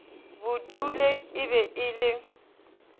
budule e be e le